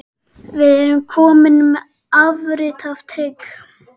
Við erum komnir með afrit af trygg